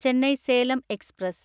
Chennai Salem express